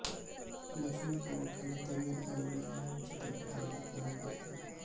लक्ष्मी प्रामुख्याने तमिळ आणि मल्याळम चित्रपटांमध्ये काम करते